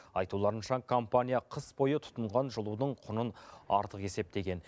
айтуларынша компания қыс бойы тұтынған жылудың құнын артық есептеген